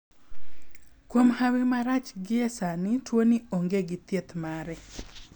kuom hawi marach gi e sani tuo ni ong'e gi thieth mare.